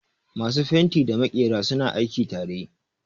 Masu fenti da maƙera suna aiki tare